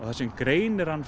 það sem greinir hann